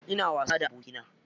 Ina wasa da abokina.